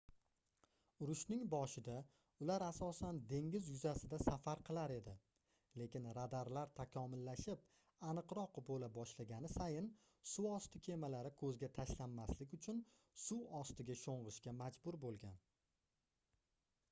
urushning boshida ular asosan dengiz yuzasida safar qilar edi lekin radarlar takomillashib aniqroq boʻla boshlagani sayin suvosti kemalari koʻzga tashlanmaslik uchun suv ostiga shongʻishga majbur boʻlgan